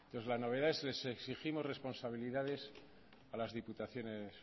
entonces la novedad es les exigimos responsabilidades a las diputaciones